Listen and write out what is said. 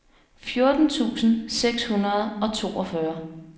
fjorten tusind seks hundrede og toogfyrre